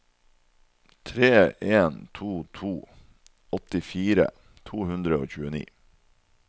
tre en to to åttifire to hundre og tjueni